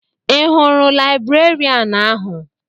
Ị hụrụ laịbrerịan ahụ?